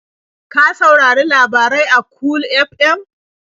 Ka saurari labarai a Cool FM?